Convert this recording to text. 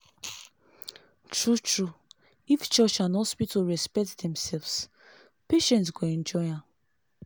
true-true! if church and hospital respect themselves patient go enjoy am.